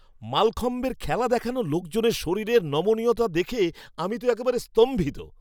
মালখম্বের খেলা দেখানো লোকজনের শরীরে নমনীয়তা দেখে আমি তো একেবারে স্তম্ভিত!